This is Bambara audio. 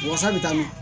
Wasa bɛ taa mɛn